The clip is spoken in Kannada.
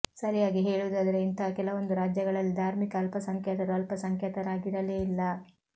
ಸರಿಯಾಗಿ ಹೇಳುವುದಾದರೆ ಇಂತಹ ಕೆಲವೊಂದು ರಾಜ್ಯಗಳಲ್ಲಿ ಧಾರ್ಮಿಕ ಅಲ್ಪಸಂಖ್ಯಾತರು ಅಲ್ಪಸಂಖ್ಯಾತರಾಗಿರಲೇ ಇಲ್ಲ